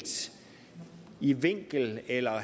i vinkel eller